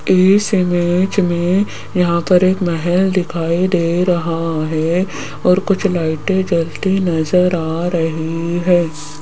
इस इमेज में यहां पर एक महल दिखाई दे रहा है और कुछ लाइटें जलती नजर आ रही है।